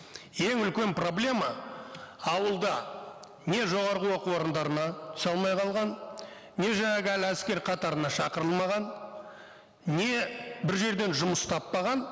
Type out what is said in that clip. ең үлкен проблема ауылда не жоғарғы оқу орындарына түсе алмай қалған не жаңағы әлі әскер қатарына шақырылмаған не бір жерден жұмыс таппаған